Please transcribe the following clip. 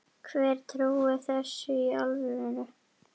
Hver trúir þessu í alvöru?